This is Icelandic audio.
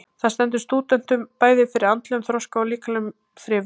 Það stendur stúdentunum bæði fyrir andlegum þroska og líkamlegum þrifum.